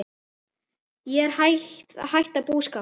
Ég er að hætta búskap.